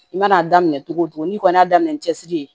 I mana a daminɛ cogo o cogo n'i kɔni y'a daminɛ cɛsiri ye